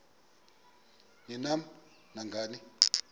ni nam nangani